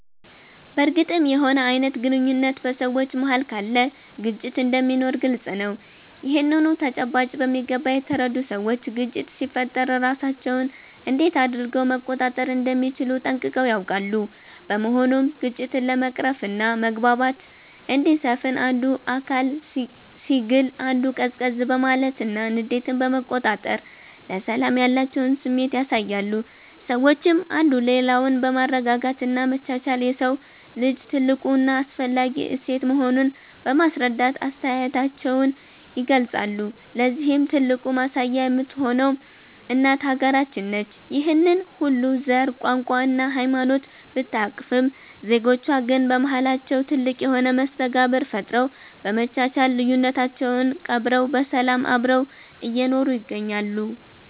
በርግጥም የሆነ አይነት ግንኙነት በ ሰዎች መሃል ካለ ግጭት እንደሚኖር ግልፅ ነው። ይህንኑ ተጨባጭ በሚገባ የተረዱ ሰዎች ግጭት ሲፈጠር ራሳቸውን እንዴት አድረገው መቆጣጠር እንደሚችሉ ጠንቅቀው ያውቃሉ። በመሆኑም ግጭትን ለመቅረፍና መግባባት እንዲሰፍን አንዱ አካል ሲግል አንዱ ቀዝቀዝ በማለትና ንዴትን በመቆጣጠር ለሰላም ያላቸውን ስሜት ያሳያሉ። ሰዎችም አንዱ ሌላውን በማረጋጋት እና መቻቻል የሰው ልጅ ትልቁ እና አስፈላጊ እሴት መሆኑን በማስረዳት አስተያየታቸውን ይገልፃሉ። ለዚህም ትልቁ ማሳያ የምትሆነው እናት ሃገራችን ነች። ይህንን ሁሉ ዘር፣ ቋንቋ እና ሃይማኖት ብታቅፍም ዜጎቿ ግን በማሃላቸው ትልቅ የሆነ መስተጋብር ፈጥረው፤ በመቻቻል ልዩነታቸውን ቀብረው በሰላም አብረው እየኖሩ ይገኛሉ።